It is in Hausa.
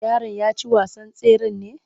Yaron ya ci wasan tseren ne?